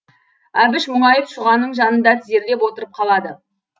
әбіш мұңайып шұғаның жанында тізерлеп отырып қалады